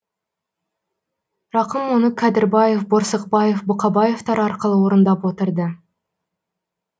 рақым мұны кәдірбаев борсықбаев бұқабаевтар арқылы орындап отырды